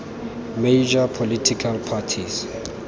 major political parties